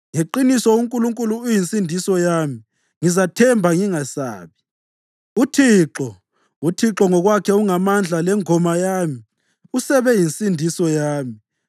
Ngeqiniso uNkulunkulu uyinsindiso yami; ngizathemba ngingesabi. UThixo, uThixo ngokwakhe ungamandla lengoma yami; usebe yinsindiso yami.”